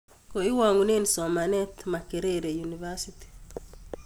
Koiwang'une somanet Makerere University